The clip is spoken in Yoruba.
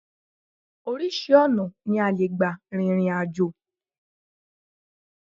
Oríṣi ọ̀nà ni a lè gbà rìnrìn àjò